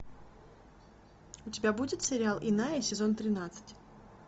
у тебя будет сериал иная сезон тринадцать